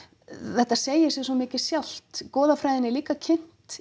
þetta segir sig svo mikið sjálft goðafræðin er líka kynnt